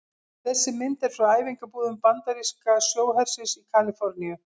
Þessi mynd er frá æfingabúðum bandaríska sjóhersins í Kaliforníu.